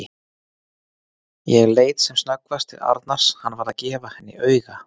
Ég leit sem snöggvast til Arnars, hann var að gefa henni auga.